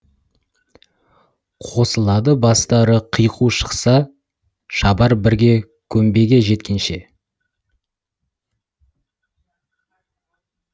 қосылады бастары қиқу шықса шабар бірге көмбеге жеткенше